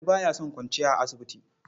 Ali ba ya son kwanciya a asibiti.